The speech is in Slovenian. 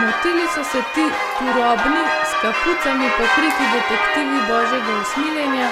Motili so se ti turobni, s kapucami pokriti detektivi Božjega usmiljenja,